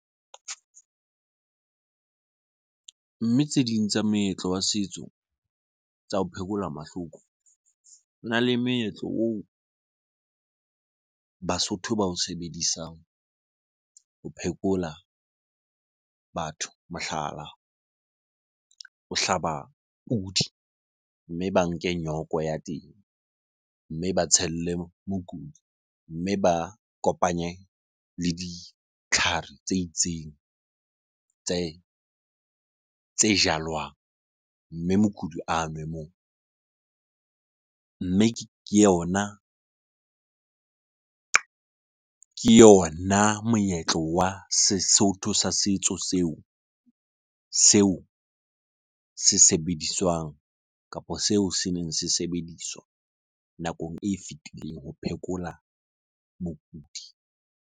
Mme tse ding tsa meetlo wa setso tsa ho phekola mahloko hona le meetlo oo Basotho ba o sebedisang ho phekola batho. Mohlala, o hlaba pudi mme ba nke nyoko ya teng mme ba tshele mokudi, mme ba kopanye le ditlhare tse itseng tse jalwang, mme mokudi a nwe moo. Mme me yona moetlo wa Sesotho sa setso seo se sebediswang kapo seo seneng se sebediswa nakong e fetileng ho phekola bokudi.